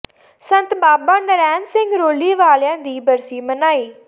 ਸੰਤ ਬਾਬਾ ਨਰੈਣ ਸਿੰਘ ਰੌਲੀ ਵਾਲਿਆਂ ਦੀ ਬਰਸੀ ਮਨਾਈ